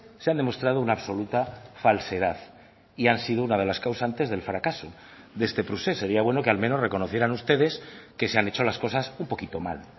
se han demostrado una absoluta falsedad y han sido una de las causantes del fracaso de este procés sería bueno que al menos reconocieran ustedes que se han hecho las cosas un poquito mal